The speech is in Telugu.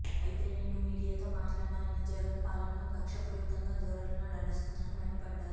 అయితే నేడు మీడియాతో మాట్లాడిన ఆయన జగన్ పాలన కక్ష్యపూరిత ధోరణిలో నడుస్తుందని మండిపడ్డారు